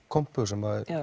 kompu sem